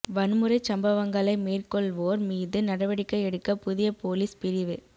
வன்முறைச் சம்பவங்களை மேற்கொள்வோர் மீது நடவடிக்கை எடுக்க புதிய பொலிஸ் பிரிவு